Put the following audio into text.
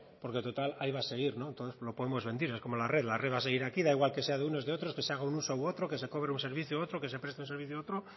porque total ahí va a seguir entonces lo podemos vender es como la red la red va a seguir aquí da igual que sea de unos de otros que se haga un uso u otro que se cobre un servicio u otro que se preste un servicio u otro